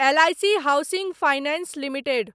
L I C housing finance limited